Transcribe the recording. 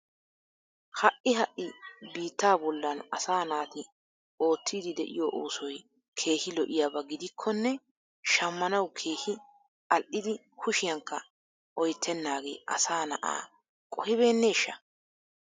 Ha'i ha'i biitta bollan asaa naati oottiddi de'iyo oosoy keehi lo'iyaba gidikkonne shammanawu keehi al'idi kushiyankka oyttenagee asaa na'a qohibenneeshsha?